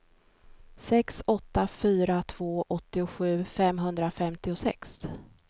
sex åtta fyra två åttiosju femhundrafemtiosex